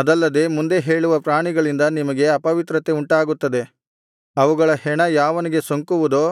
ಅದಲ್ಲದೆ ಮುಂದೆ ಹೇಳಿರುವ ಪ್ರಾಣಿಗಳಿಂದ ನಿಮಗೆ ಅಪವಿತ್ರತೆ ಉಂಟಾಗುತ್ತದೆ ಅವುಗಳ ಹೆಣ ಯಾವನಿಗೆ ಸೋಂಕುವುದೋ